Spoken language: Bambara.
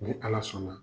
Ni ala sɔnna